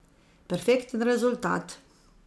Perfekten rezultat.